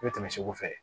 I bɛ tɛmɛ segu fɛ